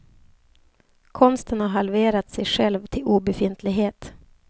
Konsten har halverat sig själv till obefintlighet.